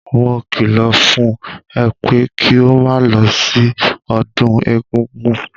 Mo kìlọ̀ fún ẹ pé kí o máa lọ sí ọdún egúngún!